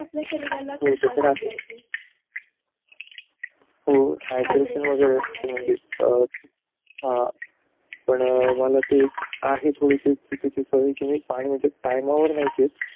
आपल्या शरीराला मिळालंच पाहिजे हो म्हणजे हा पण मला ते आहे सवय चुकीची कि मी टाइमवर पाणी नाही पेत